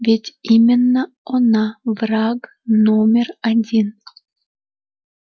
ведь именно она враг номер один